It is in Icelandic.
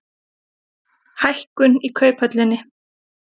Hækkun í Kauphöllinni